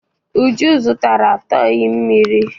Uju zụtara tọị mmiri.